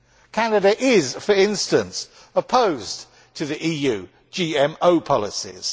Canada is, for instance, opposed to the EU's GMO policies.